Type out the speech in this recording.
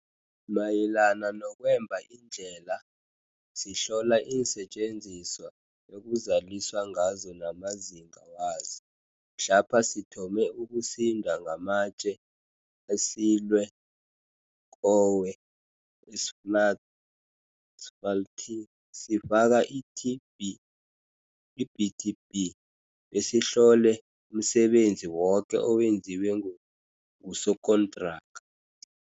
Mayelana nokwemba iindlela, sihlola iinsetjenziswa ekuzaliswa ngazo namazinga wazo. Mhlapha sithome ukusinda ngamatje asilweko we-asfalthi sifaka i-BTB besihlole umsebenzi woke owenziwe ngusokontraka.